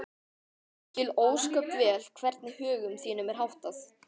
Ég skil ósköp vel hvernig högum þínum er háttað.